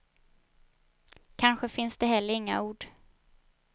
Kanske finns det heller inga ord.